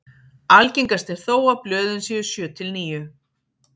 algengast er þó að blöðin séu sjö til níu